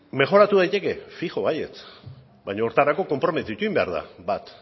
mejoratu daiteke fijo baietz baina horretarako konprometitu egin behar da bat